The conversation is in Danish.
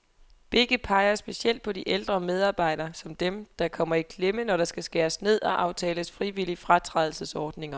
Begge peger specielt på de ældre medarbejdere, som dem, der kommer i klemme, når der skal skæres ned og aftales frivillige fratrædelsesordninger.